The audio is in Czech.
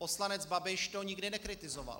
Poslanec Babiš to nikdy nekritizoval.